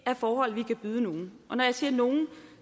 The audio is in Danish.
er forhold vi kan byde nogen og når jeg siger nogen